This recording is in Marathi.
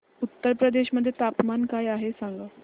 उत्तर प्रदेश मध्ये तापमान काय आहे सांगा